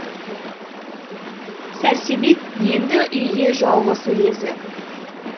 сәрсебек енді үйде жалғыз езі